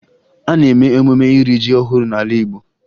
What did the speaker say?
A na-eme emume iri ji ọhụrụ n'ala Igbo